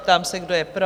Ptám se, kdo je pro?